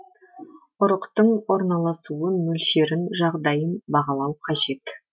ұрықтың орналасуын мөлшерін жағдайын бағалау қажет